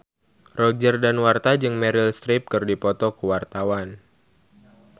Roger Danuarta jeung Meryl Streep keur dipoto ku wartawan